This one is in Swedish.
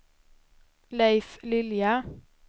Leif Lilja